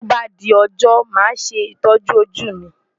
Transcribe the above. Tí ó bá di ọjọ́ màá ṣe ìtọ́jú ojú mi.